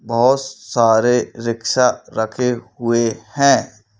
बहुत सारे रिक्शा रखे हुए हैं।